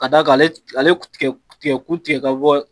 Ka d'a ale tigɛkun tigɛ ka bɔ